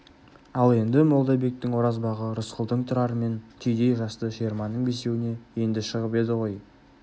ал енді молдабектің оразбағы рысқұлдың тұрарымен түйдей жасты жиырманың бесеуіне енді шығып еді ғой